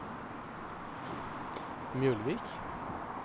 Mjølvik